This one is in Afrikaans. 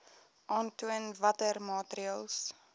aantoon watter maatreëls